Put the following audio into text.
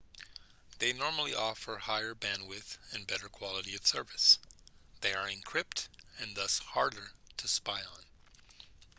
they normally offer higher bandwidth and better quality of service they are encrypted and thus harder to spy on